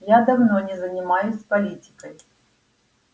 я давно не занимаюсь политикой